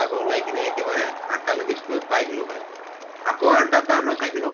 আকৌ ওলাই কিনে একেবাৰে আঠ্টালৈকে school ত পাই গʼলো হয়। আকৌ আঠ্টাত পাৰ পৰা cycle ৰ